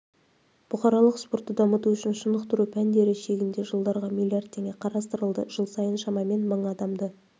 бұқаралық спортты дамыту үшін шынықтыру пәндері шегінде жылдарға млрд теңге қарастырылды жыл сайын шамамен мың адамды